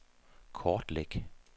kortlæg